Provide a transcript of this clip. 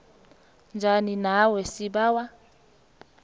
njani nawe sibawa